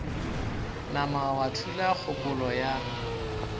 nama wa thula kgopolo ya